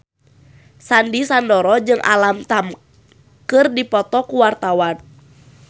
Sandy Sandoro jeung Alam Tam keur dipoto ku wartawan